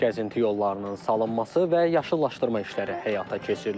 Gəzinti yollarının salınması və yaşıllaşdırma işləri həyata keçirilir.